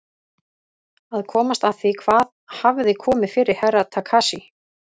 Að komast að því hvað hafði komið fyrir Herra Takashi.